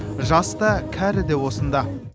жас та кәрі де осында